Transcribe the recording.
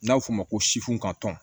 N'a bɛ f'o ma ko sifu ka tɔn